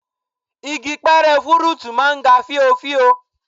Igi pẹrẹ fúrúùtù máa ń ga fíofío